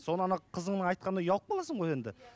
сол қызыңның айтқанына ұялып қаласың ғой енді